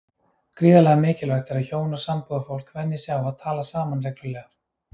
Gríðarlega mikilvægt er að hjón og sambúðarfólk venji sig á að tala saman reglulega.